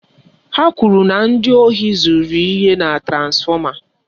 Ha kwụrụ na ndị ohi zuru ihe na transfọma.